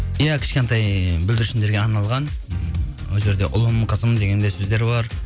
иә кішкентай бүлдіршіндерге арналған бұл жерде ұлым қызым деген де сөздер бар